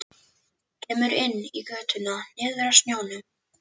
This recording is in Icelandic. Kemur inn í götuna niður að sjónum.